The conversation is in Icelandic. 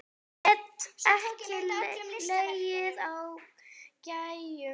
Get ekki legið á gægjum.